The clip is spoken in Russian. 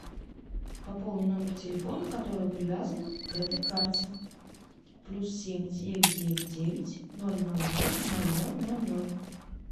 пополни номер телефона который привязан к этой карте плюс семь девять девять девять ноль ноль ноль ноль ноль ноль ноль